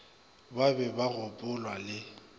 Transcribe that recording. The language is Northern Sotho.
ba be ba gopolwa le